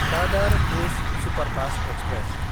Dadar Bhuj superfast express